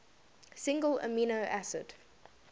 single amino acid